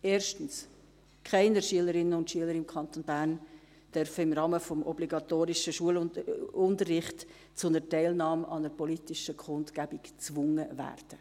erstens: Keine Schülerinnen und Schüler im Kanton Bern darf im Rahmen des obligatorischen Schulunterrichts zu einer Teilnahme an einer politischen Kundgebung gezwungen werden.